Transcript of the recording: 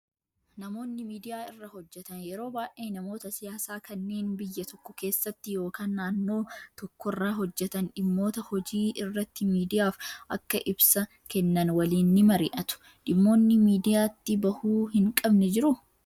Namoonni miidiyaa irra hojjatan yeroo baay'ee namoota siyaasaa kanneen biyya tokko keessatti yookaan naannoo tokkorra hojjatan dhimmoota hojii irratti miidiyaaf akka ibsa kennan waliin ni mari'atu. Dhimmoonni miidiyaatti bahuu hin qabne jiruu?